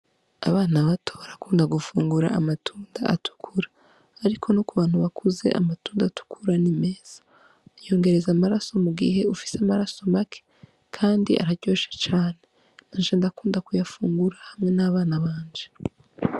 Abana bato barakunda gufungura amatunda atukura. Ariko no ku bantu bakuze amatunda atukura ni meza. Yongereza amaraso mu gihe ufise amaraso make kandi araryoshe cane. Naje ndakunda kuyafungura hamwe n'abana banje.